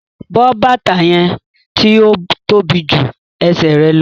Bọ bátà yẹn ti o tóbi jù ẹ̀sẹ̀ rẹ lọ̀!